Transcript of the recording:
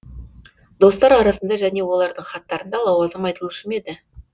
достар арасында және олардың хаттарында лауазым айтылушы ма еді